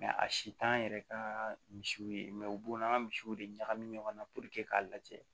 a si t'an yɛrɛ ka misiw ye u b'o n'an ka misiw de ɲagami ɲɔgɔn na k'a lajɛ